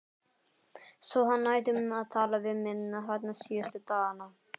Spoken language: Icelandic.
Svo hann hætti að tala við mig, þarna síðustu dagana.